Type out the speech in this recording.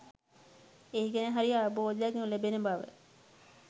ඒ ගැන හරි අවබෝධයක් නොලැබෙන බව.